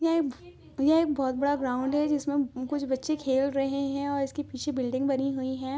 यह एक यह एक बहुत बड़ा ग्राउंड हैं जिसमे कुछ बच्चे खेल रहे हैंऔर इसके पीछे बिल्डिंग बनी हुई हैं।